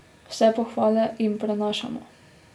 Vse pohvale jim prenašamo.